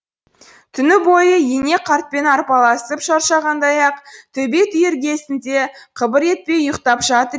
түні бойы ене қартпен арпалысып шаршағандай ақ төбет үй іргесінде қыбыр етпей ұйқтап жатыр